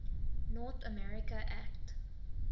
north america act